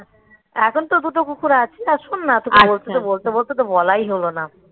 হ্যাঁ এখন তো দুটো কুকুর আছি আর শোন না এতটুকু বলতে বলতে তো বলাই হলো না